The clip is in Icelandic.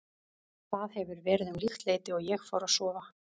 Það hefur verið um líkt leyti og ég fór að sofa.